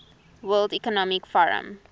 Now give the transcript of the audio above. world economic forum